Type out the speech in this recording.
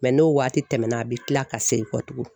n'o waati tɛmɛna a bɛ kila ka segin kɔ tugun